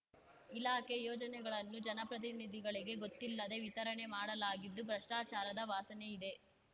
ಇಲಾಖೆ ಯೋಜನೆಗಳನ್ನು ಜನಪ್ರತಿನಿಧಿಗಳಿಗೆ ಗೊತ್ತಿಲ್ಲದೆ ವಿತರಣೆ ಮಾಡಲಾಗಿದ್ದು ಭ್ರಷ್ಟಚಾರದ ವಾಸನೆ ಇದೆ